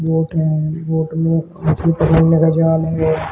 Boat है boat में मछ्ली पकड़ने का जाल भी हैं।